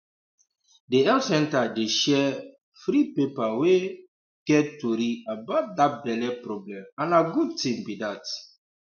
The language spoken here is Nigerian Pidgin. the health center dey share um free paper wey um get tory about that belle problem and na good thing be that